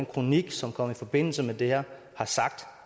kronik som kom i forbindelse med det her har sagt